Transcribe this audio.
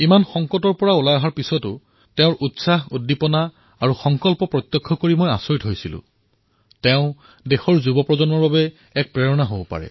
ইমান বিপদৰ পৰা হাতসাৰি অহাৰ পিছতো তেওঁৰ যি উৎসাহ আছিল তেওঁৰ যি উদ্দীপনা আছিল আৰু পুনৰবাৰ এনেকুৱাই এক পৰাক্ৰমী কাম কৰাৰ সংকল্পৰ কথা তেওঁ মোক যি কলে সেয়া দেশৰ তৰুণ প্ৰজন্মৰ বাবে প্ৰেৰণাৰ উৎস